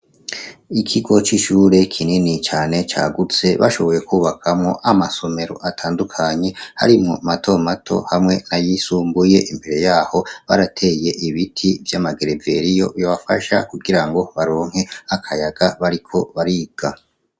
Ikigo c'ishure kinini cane cagutse bashoboye kubakamwo amasomero atandukanye harimwo mato mato hamwe n'ayisumbuye. Imbere yaho, barateye ibiti vy'amagereveriyo yobafasha kugira ngo baronke akayaga bariko bariga.